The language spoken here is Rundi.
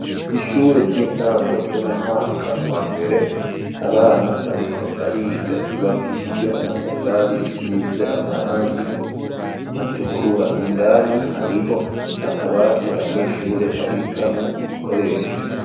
ishure ry'intango ryo mu mwaka wa mbere abana bariko bariga ry,ubakishijwe n'amatafari risize amarangi atukura indani hariho akabati abanyeshure babikamwo ibikoresho.